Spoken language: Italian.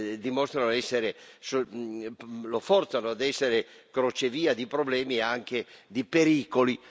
dimostrano essere, lo forzano a essere crocevia di problemi e anche di pericoli.